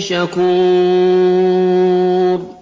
شَكُورٌ